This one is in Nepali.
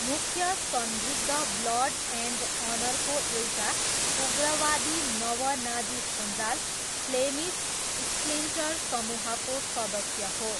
मुख्य संदिग्ध ब्लड एन्ड अनरको एउटा उग्रवादी नव नाजी सञ्जाल फ्लेमिस स्प्लिन्टर समूहको सदस्य हो।